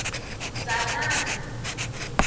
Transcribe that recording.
dzanani